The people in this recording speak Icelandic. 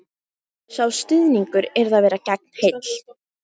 Sá stuðningur yrði að vera gegnheill